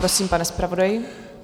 Prosím, pane zpravodaji.